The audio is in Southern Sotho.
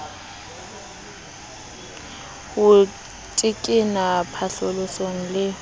ho tekena phatlalaso le ho